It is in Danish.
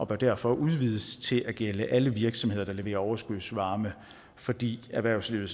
bør derfor udvides til at gælde alle virksomheder der levere overskudsvarme fordi erhvervslivet